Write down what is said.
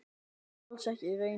Það er alls ekki raunin.